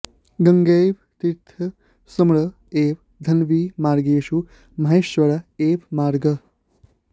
गङ्गैव तीर्थ स्मर एव धन्वी मार्गेषु माहेश्वर एव मार्गः